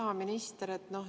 Hea minister!